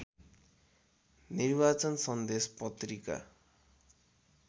निर्वाचन सन्देश पत्रिका